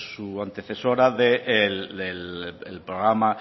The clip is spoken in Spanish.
su antecesora del programa